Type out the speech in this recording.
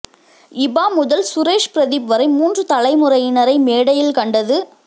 இபா முதல் சுரேஷ் பிரதீப் வரை மூன்று தலைமுறையினரை மேடையில் கண்டது